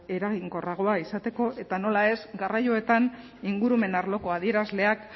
eraginkorragoa izateko eta nola ez garraioetan ingurumen arloko adierazleak